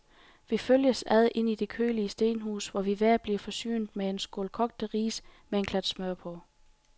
Vi følges ad ind i det kølige stenhus, hvor vi hver bliver forsynet med en skål kogte ris med en klat smør på.